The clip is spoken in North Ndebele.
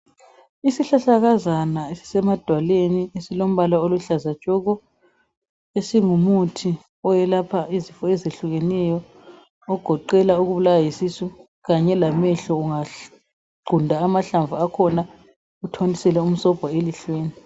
Isihlahlakazana esisemadwaleni esilombala oluhlaza tshoko esingumuthi oyelapha izifo ezehlukeneyo .Ogoqela ukubulawa yisisu kanye lamehlo ungaqunta amahlamvu akhona uthontisele umsobho elihlweni .